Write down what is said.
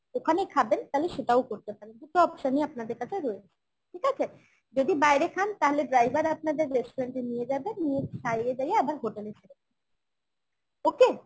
ওখানেই খাবেন তাহলে সেটাও করতে পারেন দুটো option ই আপনাদের কাছে রয়েছে ঠিক আছে? যদি বাইরে খান তাহলে driver আপনাদের restaurant এ নিয়ে যাবে, নিয়ে খাইয়ে দাইয়ে আবার hotel এ ছেড়ে দেবে okay?